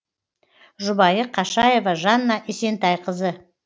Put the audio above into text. жұбайы қашаева жанна есентайқызы